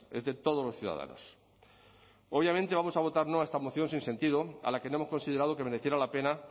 es de todos los ciudadanos obviamente vamos a votar no a esta moción sin sentido a la que no hemos considerado que mereciera la pena